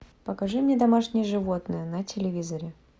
покажи мне домашние животные на телевизоре